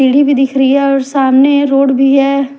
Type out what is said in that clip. सीढ़ी भी दिख रही है और सामने यह रोड भी है ।